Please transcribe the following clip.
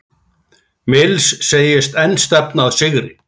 Mills segist enn stefna að sigri